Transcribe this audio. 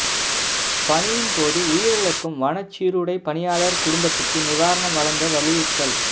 பணியின் போது உயிரிழக்கும் வனச் சீருடைபணியாளா் குடும்பத்துக்கு நிவாரணம் வழங்க வலியுறுத்தல்